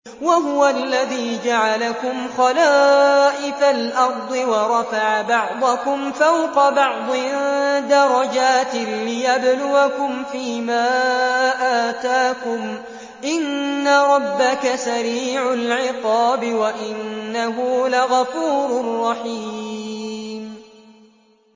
وَهُوَ الَّذِي جَعَلَكُمْ خَلَائِفَ الْأَرْضِ وَرَفَعَ بَعْضَكُمْ فَوْقَ بَعْضٍ دَرَجَاتٍ لِّيَبْلُوَكُمْ فِي مَا آتَاكُمْ ۗ إِنَّ رَبَّكَ سَرِيعُ الْعِقَابِ وَإِنَّهُ لَغَفُورٌ رَّحِيمٌ